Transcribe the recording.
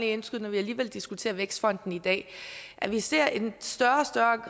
indskyde når vi alligevel diskuterer vækstfonden i dag at vi ser at en større og større